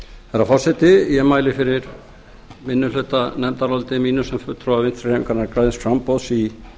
herra forseti ég mæli fyrir minnihlutanefndaráliti mínu sem fulltrúa vinstri hreyfingarinnar græns framboðs í